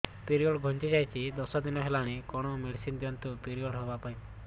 period ଘୁଞ୍ଚି ଯାଇଛି ଦଶ ଦିନ ହେଲାଣି କଅଣ ମେଡିସିନ ଦିଅନ୍ତୁ ପିରିଅଡ଼ ହଵା ପାଈଁ